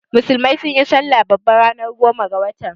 Musulmai sunyi salla babba ranar goma ga watan.